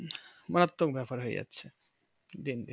মারাত্মক ব্যাপার হয়ে যাচ্ছে